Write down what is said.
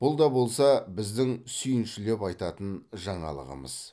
бұл да болса біздің сүйіншілеп айтатын жаңалығымыз